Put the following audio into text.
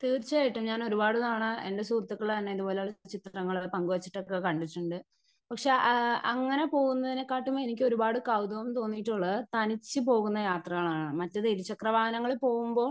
Speaker 1 തീർച്ചയയായിട്ടും ഞാനൊരുപാട് തവണ എൻ്റെ സുഹൃത്തുക്കൾതന്നെ ഇതുപോലെത്തന്നെ ചിത്രങ്ങൾ പങ്കുവെച്ചിട്ടൊക്കെ കണ്ടിട്ടുണ്ട്. പക്ഷെ അ അങ്ങനെ പോകുന്നതിനേക്കാളും എനിക്ക് ഒരുപാട് കൗതുകം തോന്നിയിട്ടുള്ളത് തനിച് പോകുന്ന യാത്രകളാണ് മറ്റേത് ഇരുചക്ര വാഹനങ്ങളിൽ പോകുമ്പോ.